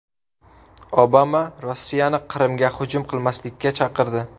Obama Rossiyani Qrimga hujum qilmaslikka chaqirdi.